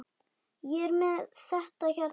Ég er með þetta hérna.